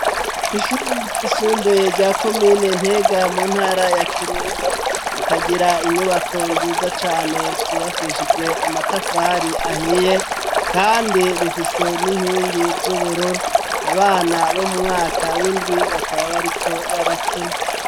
Ishure ryisumbuye rya komine ntega mu ntara ya kirundo, rikagira inyubako nziza cane zubakishijwe amatafari ahiye kandi rifise n'inkingi z'ubururu abana bo mu mwaka w'indwi bakaba bariko barakina.